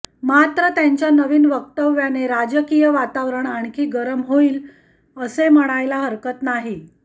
मात्र त्यांच्या नवीन वक्तव्याने राजकीय वातावरण आणखी गरम होईल असे म्हणायला हकरत नाही